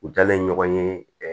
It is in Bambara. U dalen ɲɔgɔn ye ɛɛ